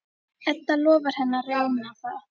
Edda lofar henni að reyna það.